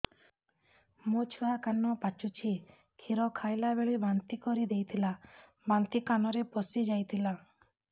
ମୋ ଛୁଆ କାନ ପଚୁଛି କ୍ଷୀର ଖାଇଲାବେଳେ ବାନ୍ତି କରି ଦେଇଥିଲା ବାନ୍ତି କାନରେ ପଶିଯାଇ ଥିଲା